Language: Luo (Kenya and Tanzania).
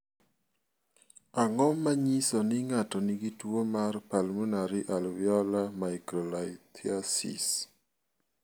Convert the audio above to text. Ang�o ma nyiso ni ng�ato nigi tuo mar Pulmonary alveolar microlithiasis?